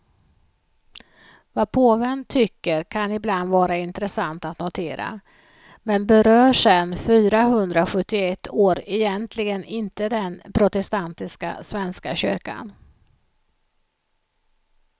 Vad påven tycker kan ibland vara intressant att notera, men berör sen fyrahundrasjuttioett år egentligen inte den protestantiska svenska kyrkan.